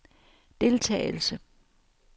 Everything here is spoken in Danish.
deltagelse